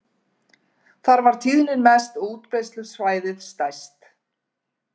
Þar var tíðnin mest og útbreiðslusvæðið stærst.